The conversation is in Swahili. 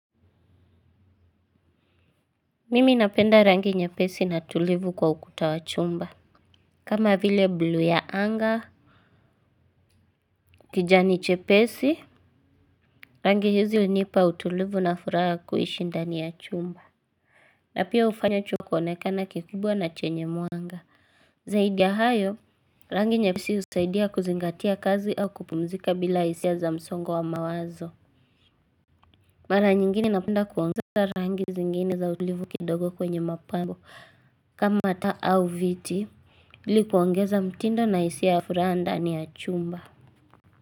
Mimi napenda rangi nyepesi na tulivu kwa ukuta wa chumba. Kama vile bluu ya anga, kijani chepesi. Rangi hizi unipa utulivu na furaha kuishi ndani ya chumba. Na pia ufanya choo kuonekana kikubwa na chenye mwanga. Zaidi ya hayo, rangi nyepesi usaidia kuzingatia kazi au kupumzika bila hisia za msongo wa mawazo. Mara nyingine napenda kuongeza rangi zingine za utulivu kidogo kwenye mapambo. Kama ata au viti, ili kuongeza mtindo na hisia ya furaha ndani ya chumba.